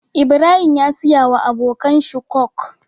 Ibrahim ya siya wa abokan shi coke